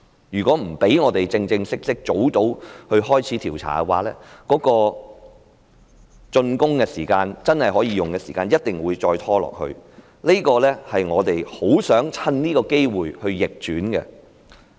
如果不讓我們早日正式開始調查，竣工的時間，即可供市民使用的時間，一定會再拖延下去，這一點是我們很想趁這個機會扭轉的。